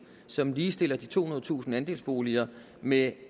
som ligestiller de tohundredetusind andelsboliger med